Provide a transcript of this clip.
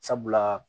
Sabula